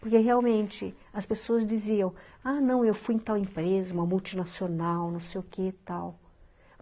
Porque, realmente, as pessoas diziam, ''ah, não, eu fui em tal empresa, uma multinacional, não sei o que e tal.''